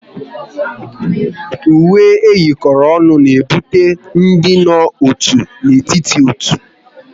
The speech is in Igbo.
Uwe eyikoro ọnụ na-ebute ịdị n'otu n'etiti ndị otu